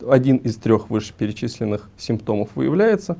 один из трёх вышеперечисленных симптомов выявляется